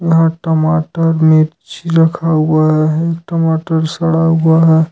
यहां टमाटर मिर्ची रखा हुआ है एक टमाटर सड़ा हुआ है।